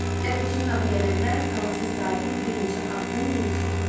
Ləpirçinin adı gələndə fransız zabit bir neçə addım geri çəkildi.